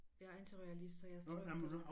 Jeg er antiroyalist så jeg tror